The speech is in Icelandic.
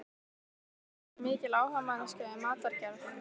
En er Ester mikil áhugamanneskja um matargerð?